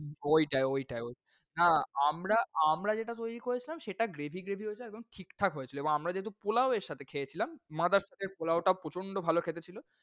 ওইটাই, ওইটা্‌ ওইটাই, হ্যাঁ আমরা আমরা যেটা তৈরি করেছিলাম সেটা gravy gravy হয়েছিল এবং ঠিকঠাক হয়েছিল। এবং আমরা যেহেতু পোলাও এর সাথে খেয়েছিলাম mothers এর পোলাও টা প্রচণ্ড ভাল খেতে ছিল।